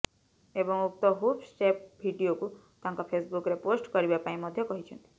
ଏବଂ ଉକ୍ତ hook step ଭିଡ଼ିଓକୁ ତାଙ୍କ ଫେସବୁକରେ ପୋଷ୍ଟ କରିବା ପାଇଁ ମଧ୍ୟ କହିଛନ୍ତି